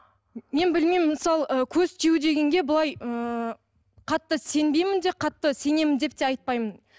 мен білмеймін мысалы ы көз тию дегенге былай ыыы қатты сенбеймін де қатты сенемін деп те айтпаймын